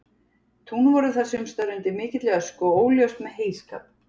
Tún voru þar sumstaðar undir mikilli ösku og óljóst með heyskap.